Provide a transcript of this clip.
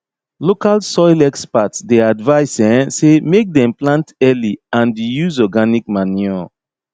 local soil experts dey advice um say make dem plant early anduse organic manure